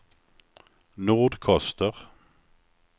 Nordkoster